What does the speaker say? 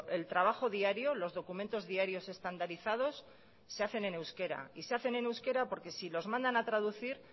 el trabajo diario los documentos diarios estandarizados se hacen en euskera y se hacen en euskera porque si los mandan a traducir